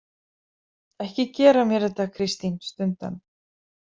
Ekki gera mér þetta, Kristín, stundi hann.